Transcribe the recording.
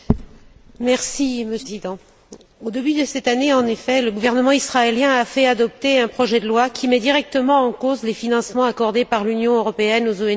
Monsieur le Président, au début de cette année, le gouvernement israélien a fait adopter un projet de loi qui met directement en cause les financements accordés par l'Union européenne aux ONG en Israël.